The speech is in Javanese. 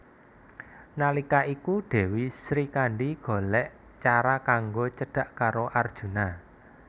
Nalika iku Dèwi Srikandhi golèk cara kanggo cedhak karo Arjuna